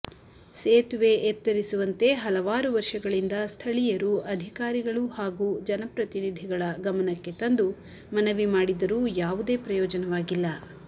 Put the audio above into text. ಸೇತುವೆ ಎತ್ತರಿಸುವಂತೆ ಹಲವಾರು ವರ್ಷಗಳಿಂದ ಸ್ಥಳೀಯರು ಅಧಿಕಾರಿಗಳು ಹಾಗೂ ಜನಪ್ರತಿನಿಧಿಗಳ ಗಮನಕ್ಕೆ ತಂದು ಮನವಿ ಮಾಡಿದ್ದರೂ ಯಾವುದೇ ಪ್ರಯೋಜನವಾಗಿಲ್ಲ